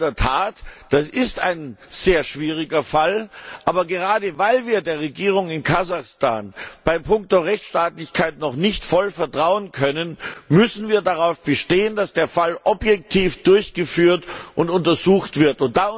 In der Tat ist das ein sehr schwieriger Fall. Aber gerade weil wir der Regierung in Kasachstan in punkto Rechtsstaatlichkeit noch nicht voll vertrauen können, müssen wir darauf bestehen, dass der Fall objektiv untersucht wird.